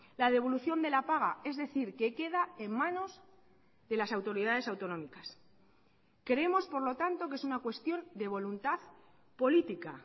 la devolución de la paga es decir que queda en manos de las autoridades autonómicas creemos por lo tanto que es una cuestión de voluntad política